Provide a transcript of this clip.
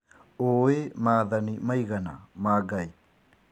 ũũĩ maathani maigana ma Ngai